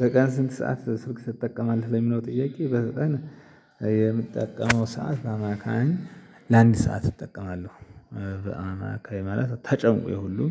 በቀን ስንት ሰዓት ስልክ ትጠቀማለህ? ለሚለው ጥያቄ በቀን የምትጠቀመው ሰዓት በአማካኝ ለአንድ ሰዓት እጠቀማለሁ። በአማካኝ ማለት ተጨምቆ የሁሉም